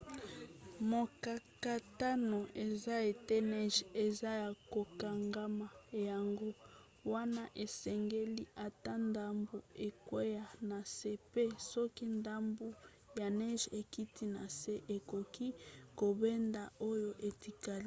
mokakatano eza ete neige eza ya kokangama yango wana esengeli ata ndambu ekwea na se mpe soki ndambu ya neige ekiti na se ekoki kobenda oyo etikali